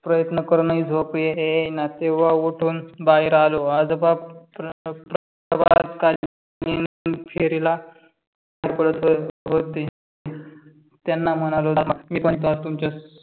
प्रयत्न करूनही झोप येई येईना तेव्हा उठून बाहेर आलो. आजोबा प्रभात काळी फेरीला जात होते. त्यांना म्हणालो मी पण चालतो तुमच्यासोबत